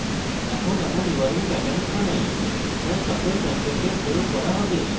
এখন এমন url patterns বানাই যা সকল contents প্রয়োগ করা have